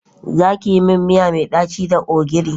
Za ki yi min miya mai daci da ogiri.